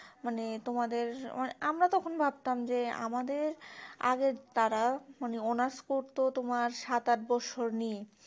মানে তোমাদের আমরা তখন ভাবতাম যে আমাদের আগের তারা মানে honours করতো তোমার সাত আট বৎসর নিয়ে